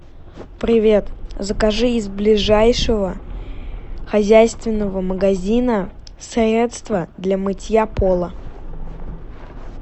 привет закажи из ближайшего хозяйственного магазина средство для мытья пола